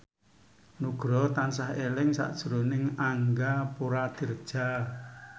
Nugroho tansah eling sakjroning Angga Puradiredja